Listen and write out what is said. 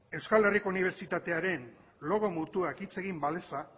euskal herriko unibertsitatearen logo mutuak hitz egin baleza